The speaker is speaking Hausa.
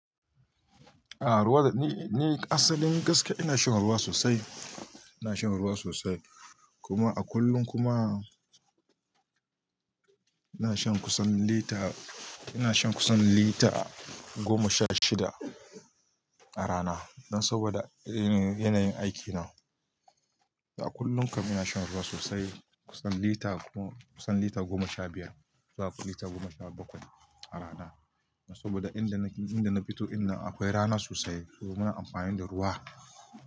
Ah ruwa, ni asalin gaskiya ina shan ruwa sosai, ina shan ruwa sosai. Kuma a kullum kuma ina shan kusan lita, ina shan kusan lita goma sha shida a rana. Dan saboda yanayin aiki na. A kullum kam ina shan ruwa sosai, kusan lita goma sha biyar zuwa lita goma sha bakwai a rana. Saboda inda na fito ɗinnan akwai rana sosai, so muna amfani da ruwa.